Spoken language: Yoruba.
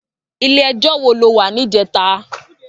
Ilé èjò wó ló wá nijètá?